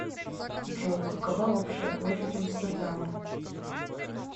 джой какова общая площадь амстердама